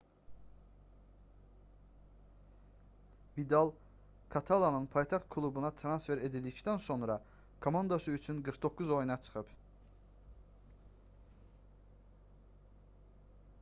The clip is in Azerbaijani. vidal katalanın paytaxt klubuna transfer edildikdən sonra komandası üçün 49 oyuna çıxıb